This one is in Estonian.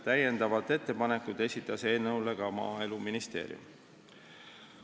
Täiendavad ettepanekud esitas ka Maaeluministeerium.